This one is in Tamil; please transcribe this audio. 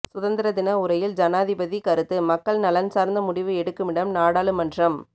சுதந்திர தின உரையில் ஜனாதிபதி கருத்து மக்கள் நலன் சார்ந்த முடிவு எடுக்குமிடம் நாடாளுமன்றம்